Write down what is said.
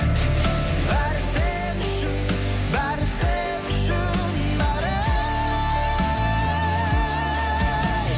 бәрі сен үшін бәрі сен үшін бәрі